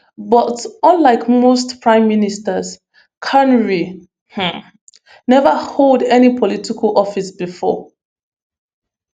but unlike most prime ministers carney um neva hold any political office bifor